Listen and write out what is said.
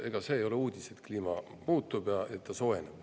Ega see ei ole uudis, et kliima muutub ja et ta soojeneb.